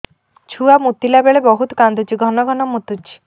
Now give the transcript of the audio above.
ଛୁଆ ମୁତିଲା ବେଳେ ବହୁତ କାନ୍ଦୁଛି ଘନ ଘନ ମୁତୁଛି